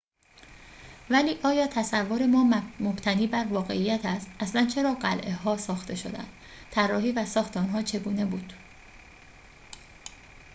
ولی آیا تصور ما مبتنی بر واقعیت است اصلاً چرا قلعه‌ها ساخته شدند طراحی و ساخت آنها چگونه بود